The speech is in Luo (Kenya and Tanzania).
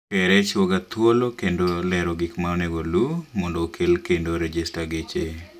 KRA chiwo ga thuolo kendo lero gik ma onego oluu mondo okel kendo rejesta geche